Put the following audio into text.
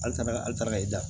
An taara an taara ka da